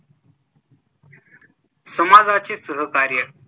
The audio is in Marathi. समाजाचे सहकार्य